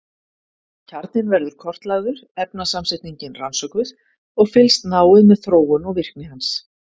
Kjarninn verður kortlagður, efnasamsetningin rannsökuð og fylgst náið með þróun og virkni hans.